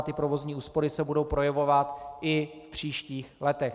A ty provozní úspory se budou projevovat i v příštích letech.